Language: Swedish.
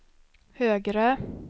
högre